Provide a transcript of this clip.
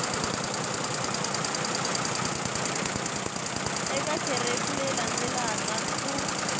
eka kherefu leyi landzelaka ku